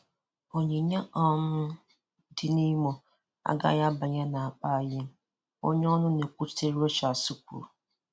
Onyinye um dị na Imo um na Imo um agaghị abanye n'akpa anyị onye ọnụ na-ekwuchitere Rochas kwuru.